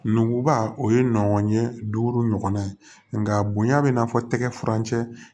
Nuguba o ye nɔgɔnɲɛ duuru ɲɔgɔnna ye nka bonya bɛ n'a fɔ tɛgɛ furancɛ